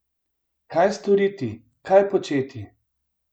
Kaj storiti, kaj početi?